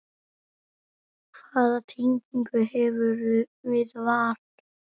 Hvaða tengingu hefurðu við Val?